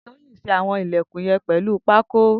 Toyin ti ṣé awọn ilẹ̀kún yèn pèlú pàkó